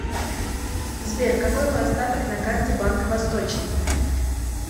сбер какой мой остаток на карте банка восточный